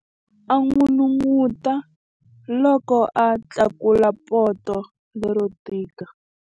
A n'unun'uta loko a tlakula poto lero tika.